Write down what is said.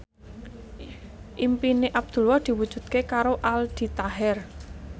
impine Abdullah diwujudke karo Aldi Taher